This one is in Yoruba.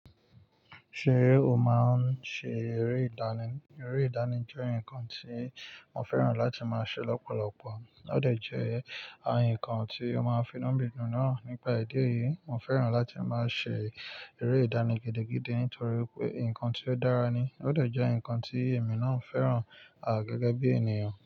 Ṣé o máa ń ṣe eré ìdáná? Eré ìdáná jẹ́ ǹkan tí mo fẹ́ràn láti máa ṣe lọ́pọ̀lọpọ̀. Ó dé jẹ́ ǹkan tí ó máa ń fi nú mi dùn náà nípa èdè yìí. Mo fẹ́ràn láti máa ṣe eré ìdánìgidi nítorí pé nǹkan tí ó dára ni. Ó dẹ̀ jẹ́ nǹkan tí èmi náà fẹ́ràn gẹ́gẹ́ bí ènìyàn.